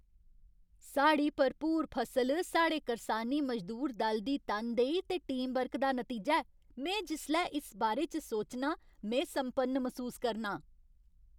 साढ़ी भरपूर फसल साढ़े करसानी मजदूर दल दी तनदेही ते टीमवर्क दा नतीजा ऐ। में जिसलै इस बारे च सोचनां, में सम्पन्न मसूस करनां।